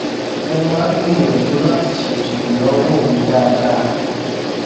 mo máa ń gbìyànjú láti ṣètò ìnáwó mi dáadáa